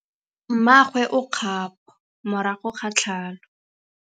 Mmagwe o kgapô morago ga tlhalô.